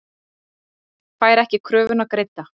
Fær ekki kröfuna greidda